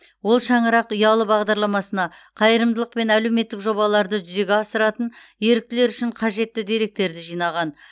ол шаңырақ ұялы бағдарламасына қайырымдылық пен әлеуметтік жобаларды жүзеге асыратын еріктілер үшін қажетті деректерді жинаған